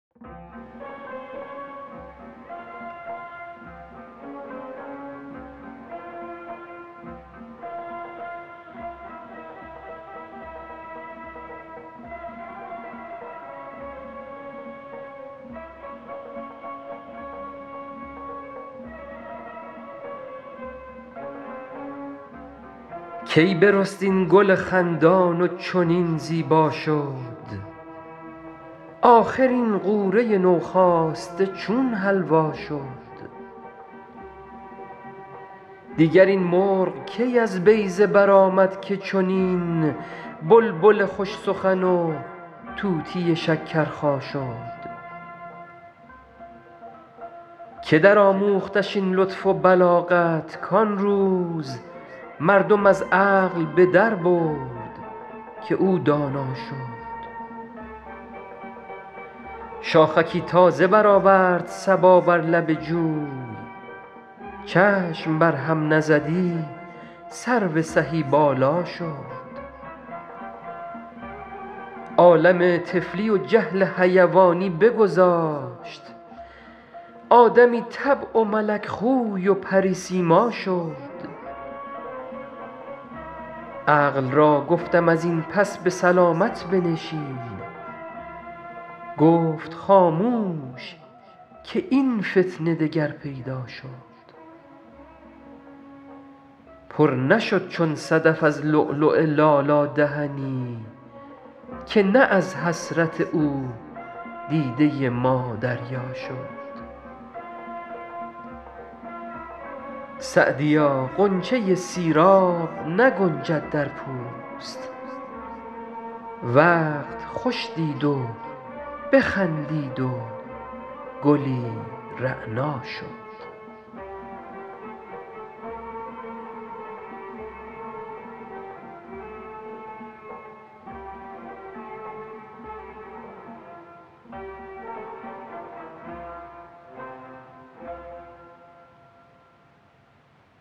کی برست این گل خندان و چنین زیبا شد آخر این غوره نوخاسته چون حلوا شد دیگر این مرغ کی از بیضه برآمد که چنین بلبل خوش سخن و طوطی شکرخا شد که درآموختش این لطف و بلاغت کان روز مردم از عقل به دربرد که او دانا شد شاخکی تازه برآورد صبا بر لب جوی چشم بر هم نزدی سرو سهی بالا شد عالم طفلی و جهل حیوانی بگذاشت آدمی طبع و ملک خوی و پری سیما شد عقل را گفتم از این پس به سلامت بنشین گفت خاموش که این فتنه دگر پیدا شد پر نشد چون صدف از لؤلؤ لالا دهنی که نه از حسرت او دیده ما دریا شد سعدیا غنچه سیراب نگنجد در پوست وقت خوش دید و بخندید و گلی رعنا شد